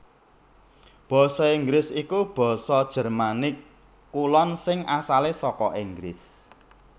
Basa Inggris iku basa Jermanik Kulon sing asalé saka Inggris